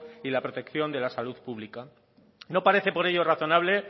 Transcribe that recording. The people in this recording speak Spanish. y a la protección de la salud pública no parece por ello razonable